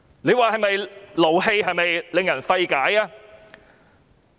這不是令人氣憤、令人費解嗎？